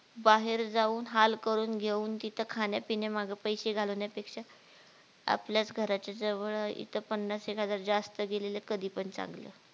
बाहेर जाऊन हाल करून घेऊन तिथे खाण्या पिण्या मागे पैसे घालवण्या पेक्षा आपल्याच घराच्या जवळ इथं पन्नास एक हजार जास्त गेलेले कधीपण चांगलं